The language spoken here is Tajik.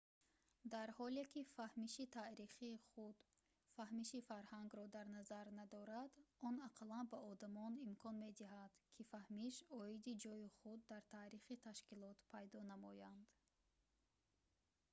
дар ҳоле ки фаҳмиши таърихи худ фаҳмиши фарҳангро дар назар надорад он ақаллан ба одамон имкон медиҳад ки фаҳмиш оиди ҷойи худ дар таърихи ташкилот пайдо намоянд